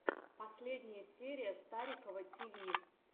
последняя серия старикова ти ви